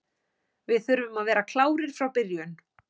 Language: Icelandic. Við þurfum að vera klárir frá byrjun.